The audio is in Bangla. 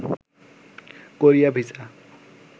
Korea visa